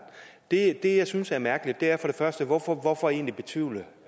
det jeg synes er mærkeligt er for det første hvorfor hvorfor egentlig betvivle